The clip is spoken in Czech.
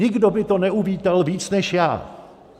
Nikdo by to neuvítal víc než já.